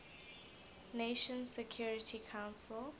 nations security council